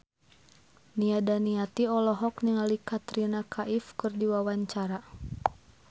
Nia Daniati olohok ningali Katrina Kaif keur diwawancara